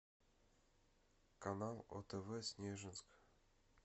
канал отв снежинск